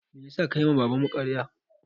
Meyasa ka yi ma baban mu ƙarya?